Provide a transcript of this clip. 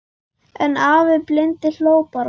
En afi blindi hló bara.